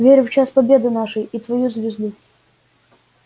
верю в час победы нашей и в твою звезду